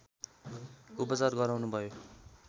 उपचार गराउनु भयो